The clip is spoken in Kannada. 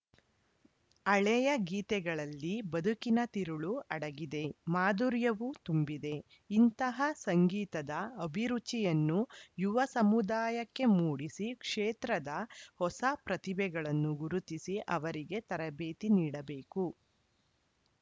ಹಳೇಯ ಗೀತೆಗಳಲ್ಲಿ ಬದುಕಿನ ತಿರುಳು ಅಡಗಿದೆ ಮಾಧುರ್ಯವೂ ತುಂಬಿದೆ ಇಂತಹ ಸಂಗೀತದ ಅಭಿರುಚಿಯನ್ನು ಯುವ ಸಮುದಾಯಕ್ಕೆ ಮೂಡಿಸಿ ಕ್ಷೇತ್ರದ ಹೊಸ ಪ್ರತಿಭೆಗಳನ್ನು ಗುರುತಿಸಿ ಅವರಿಗೆ ತರಬೇತಿ ನೀಡಬೇಕು